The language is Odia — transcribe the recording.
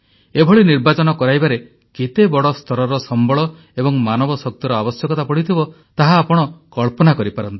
ଏଭଳି ନିର୍ବାଚନ କରାଇବାରେ କେତେ ବଡ଼ ସ୍ତରରେ ସମ୍ବଳ ଏବଂ ମାନବ ଶକ୍ତିର ଆବଶ୍ୟକତା ପଡ଼ିଥିବ ତାହା ଆପଣ କଳ୍ପନା କରିପାରନ୍ତି